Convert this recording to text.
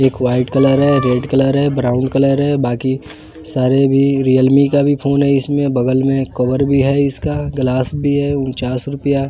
एक white colour है red colour है ब्राउन कलर है बाकी सारे भी रियलमी का भी फोन हैं इसमें बगल में कवर भी है इसका ग्लास भी है उनचास रूपया --